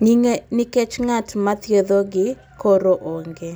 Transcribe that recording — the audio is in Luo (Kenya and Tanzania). kikech ng'at mathiethogi koro onge